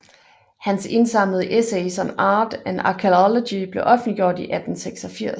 Hans indsamlede Essays on Art and Archaeology blev offentliggjort i 1886